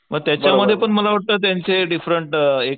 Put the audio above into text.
पण त्याच्यामध्ये पण मला वाटत त्याचे डिफरंट